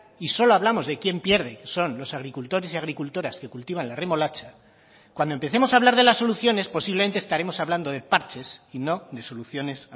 y solo hablamos de quién pierde son los agricultores y agricultoras que cultivan la remolacha cuando empecemos a hablar de las soluciones posiblemente estaremos hablando de parches y no de soluciones